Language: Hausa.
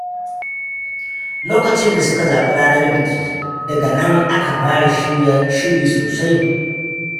Lokacin da suka zaɓi ranar biki, daga nan aka fara shiri sosai.